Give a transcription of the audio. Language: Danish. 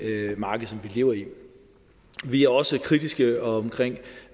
marked som vi lever i vi er også kritiske omkring